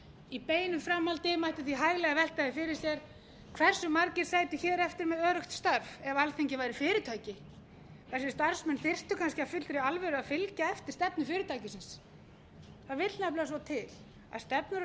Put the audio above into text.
í beinu framhaldi mætti því hæglega velta því fyrir sér hversu margir sætu hér eftir með öruggt starf ef alþingi væri fyrirtæki þar sem starfsmenn þyrftu kannski af fullri alvöru að fylgja eftir stefnu fyrirtækisins það vill nefnilega svo til að stefnur og